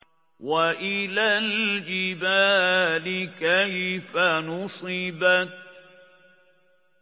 وَإِلَى الْجِبَالِ كَيْفَ نُصِبَتْ